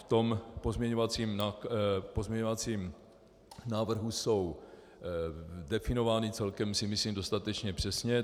V tom pozměňovacím návrhu jsou definovány celkem si myslím dostatečně přesně.